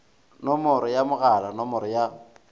nomoro ya mogala nomoro ya